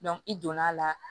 i donna a la